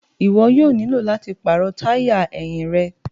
Iwọ yoo nilo lati paarọ taya ẹhin rẹ